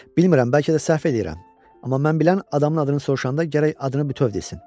Bilmirəm, bəlkə də səhv eləyirəm, amma mən bilən adamın adını soruşanda gərək adını bütöv desin.